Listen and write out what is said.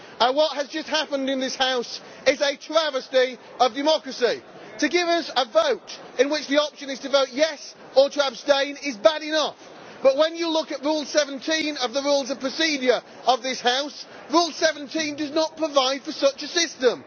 What has just happened in this House is a travesty of democracy. To give us a vote in which the option is to vote yes' or to abstain is bad enough, but when you look at Rule 17 of the Rules of Procedure of this House, it does not provide for such a system.